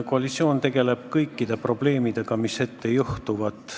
Koalitsioon tegeleb kõikide probleemidega, mis ette juhtuvad.